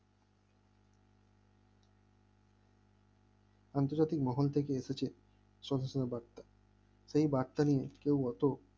আন্তর্জাতিক মহল থেকে এসেছে সহজ উনা বার্তা এই বার্তা নিয়ে কেউ অত